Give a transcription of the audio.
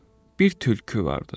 Bir tülkü vardı.